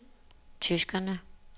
tyskerne